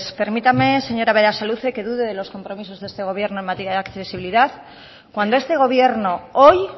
permítame señora berasaluze que dude de los compromisos de este gobierno en materia de accesibilidad cuando este gobierno hoy